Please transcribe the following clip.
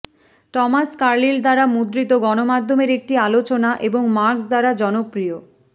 Thomas Carlyle দ্বারা মুদ্রিত গণমাধ্যমের একটি আলোচনা এবং মার্কস দ্বারা জনপ্রিয়